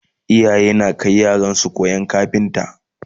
iyaye na Kai yaransu koyan kafinta